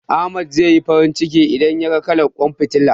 Ahmad zai yi farin ciki, idan yaga kalar ƙwan fitilar.